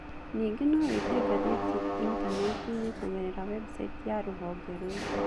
Ningĩ no wĩtie ngathĩti Intaneti-inĩ kũgerera Website ya rũhonge rũu